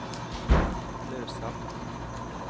Løseth